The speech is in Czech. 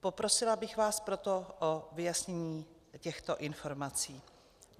Poprosila bych vás proto o vyjasnění těchto informací.